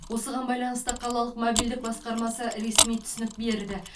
осыған байланысты қалалық мобильдік басқармасы ресми түсінік берді